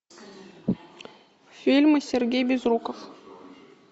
фильмы сергей безруков